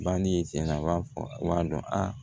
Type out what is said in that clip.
Bani tiɲɛna b'a fɔ a b'a dɔn a